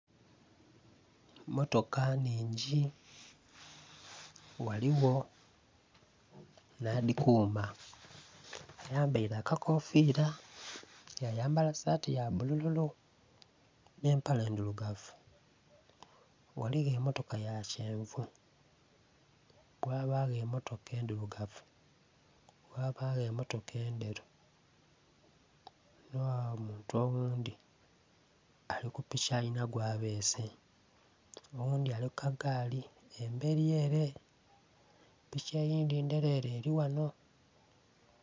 Mmotoka nhingi ghaligho nh'adhikuuma ayambaile akakofiira, ya yambala saati ya bbululu nh'empale ndhilugavu. Ghaligho emmotoka ya kyenvu, ghabagho emmotoka endhilugavu, ghabagho emmotoka endheru, ghano ghabagho omuntu oghundhi ali ku piki alina gwabeese, oghundhi ali ku kagaali embeli ele. Piki eyindhi ndheleele eli ghanho.